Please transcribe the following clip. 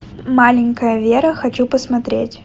маленькая вера хочу посмотреть